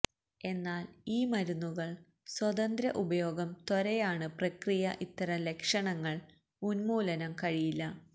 എന്നാൽ ഈ മരുന്നുകൾ സ്വതന്ത്ര ഉപയോഗം ത്വരയാണ് പ്രക്രിയ ഇത്തരം ലക്ഷണങ്ങൾ ഉന്മൂലനം കഴിയില്ല